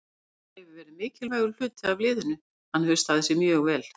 John hefur verið mikilvægur hluti af liðinu, hann hefur staðið sig mjög vel.